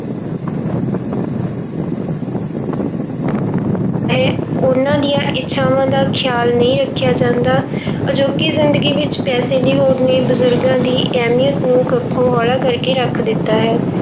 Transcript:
ਹੈ, ਉਹਨਾਂ ਦੀਆਂ ਇੱਛਾਵਾਂ ਦਾ ਖ਼ਿਆਲ ਨਹੀਂ ਰੱਖਿਆ ਜਾਂਦਾ ਅਜੋਕੀ ਜ਼ਿੰਦਗੀ ਵਿੱਚ ਪੈਸੇ ਦੀ ਹੋੜ ਨੇ ਬਜ਼ੁਰਗਾਂ ਦੀ ਅਹਿਮੀਅਤ ਨੂੰ ਕੱਖੋਂ ਹੋਲਾ ਕਰਕੇ ਰੱਖ ਦਿੱਤਾ ਹੈ।